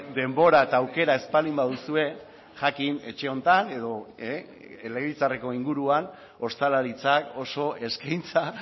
denbora eta aukera ez baldin baduzue jakin etxe honetan edo legebiltzarreko inguruan ostalaritzak oso eskaintza